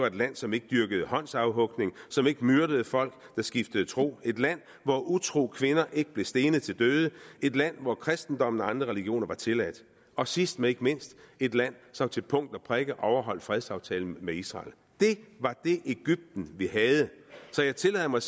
et land som ikke dyrkede håndsafhugning som ikke myrdede folk der skiftede tro et land hvor utro kvinder ikke blev stenet til døde et land hvor kristendommen og andre religioner var tilladt og sidst men ikke mindst et land som til punkt og prikke overholdt fredsaftalen med israel det var det egypten vi havde så jeg tillader mig